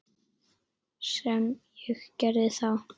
Sem ég gerði þá.